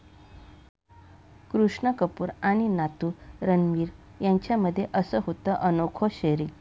कृष्णा कपूर आणि नातू रणबीर यांच्यामध्ये असं होतं अनोखं शेअरिंग